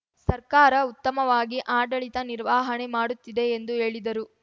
ಸರ್ಕಾರ ಉತ್ತಮವಾಗಿ ಆಡಳಿತ ನಿರ್ವಹಣೆ ಮಾಡುತ್ತಿದೆ ಎಂದು ಹೇಳಿದರು